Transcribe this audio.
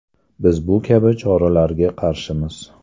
Biz bu kabi choralarga qarshimiz.